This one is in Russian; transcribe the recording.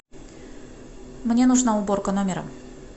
мне нужна уборка номера